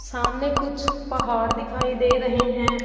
सामने कुछ पहाड़ दिखाई दे रहे हैं।